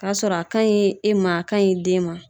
K'a sɔrɔ a ka ɲi e ma a ka ɲi i den ma.